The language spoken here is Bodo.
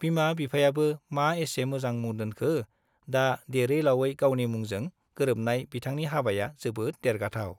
बिमा-बिफायाबो मा एसे मोजां मुं दोनखो, दा देरै-लावयै गावनि मुंजों गोरोबनाय बिथांनि हाबाया जोबोद देरगाथाव।